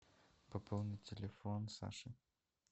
пополнить телефон саши